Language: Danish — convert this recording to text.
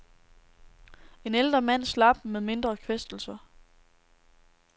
En ældre mand slap med mindre kvæstelser.